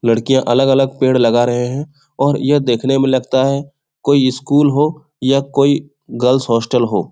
लड़कियाँ अलग-अलग पेड़ लगा रहे हैं और यह देखने में लगता है कोई स्कूल हो या कोई गर्ल्स हॉस्टल हो।